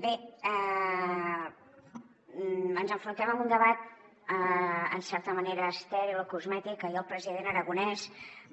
bé ens enfrontem a un debat en certa manera estèril o cosmètic que ahir el president aragonès